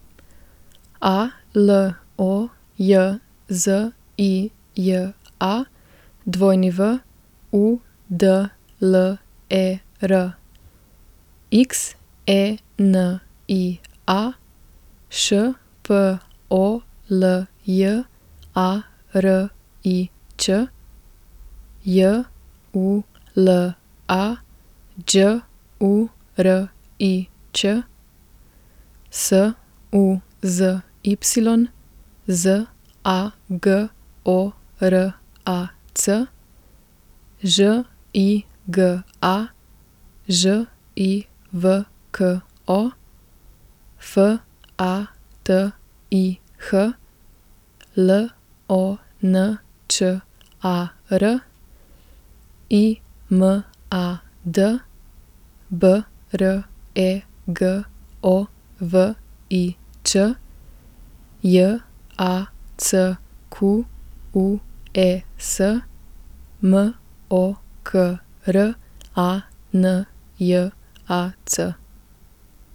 A L O J Z I J A, W U D L E R; X E N I A, Š P O L J A R I Ć; J U L A, Đ U R I Ć; S U Z Y, Z A G O R A C; Ž I G A, Ž I V K O; F A T I H, L O N Č A R; I M A D, B R E G O V I Č; J A C Q U E S, M O K R A N J A C.